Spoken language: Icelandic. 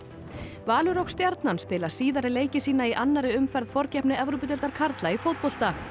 Valur og Stjarnan spila síðari leiki sína í annarri umferð forkeppni Evrópudeildar karla í fótbolta